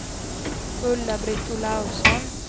Ulla-Britt Olausson